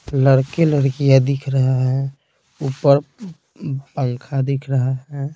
लड़के लड़कियां दिख रहे है ऊपर पंखा दिख रहा है।